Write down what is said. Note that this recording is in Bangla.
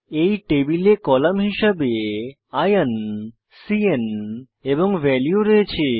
এই টেবিলে কলাম হিসাবে আইওএন cন এবং ভ্যালিউ রয়েছে